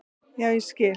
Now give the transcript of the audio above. Já, ég skil.